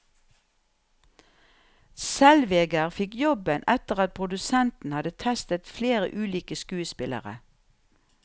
Zellweger fikk jobben etter at produsentene hadde testet flere ulike skuespillere.